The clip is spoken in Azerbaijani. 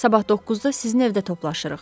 Sabah 9-da sizin evdə toplaşırıq.